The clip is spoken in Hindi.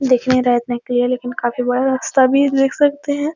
दिख नहीं रहा है इतना क्लियर लकिन काफी बड़ा रास्ता भी है देख सकते है।